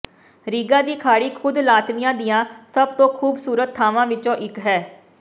ਰੀਗਾ ਦੀ ਖਾੜੀ ਖ਼ੁਦ ਲਾਤਵੀਆ ਦੀਆਂ ਸਭ ਤੋਂ ਖੂਬਸੂਰਤ ਥਾਵਾਂ ਵਿੱਚੋਂ ਇੱਕ ਹੈ